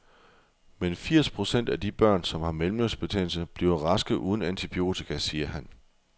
Men firs procent af de børn, som har mellemørebetændelse, bliver raske uden antibiotika, siger han.